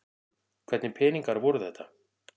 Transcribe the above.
Hvernig peningar voru þetta?